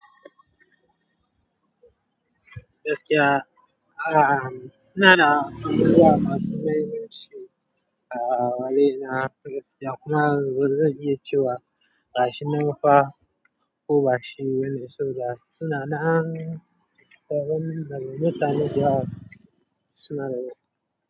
Gaskiya, ahm, inna da zuriya masu maimaici a wurina, ah, wuri na gaskiya kuma zan iya cewa gashi nan fa ko ba shi bane suda suna nan, kamin kamin mutane si yi yawa suna wurin.